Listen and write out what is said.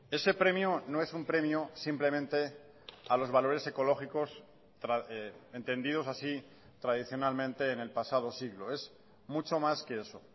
ese premio no es un premio simplemente a los valores ecológicos entendidos así tradicionalmente en el pasado siglo es mucho más que eso